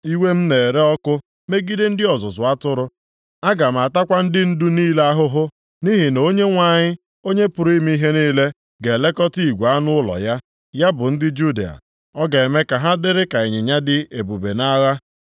“Iwe m na-ere ọkụ megide ndị ọzụzụ atụrụ, aga m atakwa ndị ndu + 10:3 Ọ bụ mkpi na-ebuta ụzọ mgbe ha na-aga nʼigwe. niile ahụhụ; nʼihi na Onyenwe anyị, Onye pụrụ ime ihe niile ga-elekọta igwe anụ ụlọ ya, ya bụ ndị Juda, ọ ga-eme ka ha dịrị ka ịnyịnya dị ebube nʼagha.